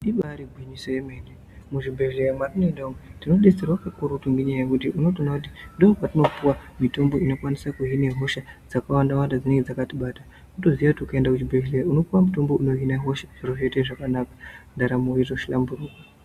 Ibari gwinyiso emene muzvibhedhleya mwatinoenda umwu, tinobetserwa kakurutu ngenyaya yekuti unotoona kuti ndokwetinopuwa mitombo ino kwanisa kuhine hosha dzakawanda wanda dzakati bata toziya kuti ukaenda kuzvibhedhlera unopuwe mitombo inohine hosha dzinenge dzakatibata tozoita zvakanaka ndaramo yoto hlamburwa.